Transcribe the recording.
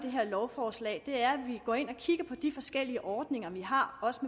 lovforslaget her er at vi kigger på de forskellige ordninger vi har også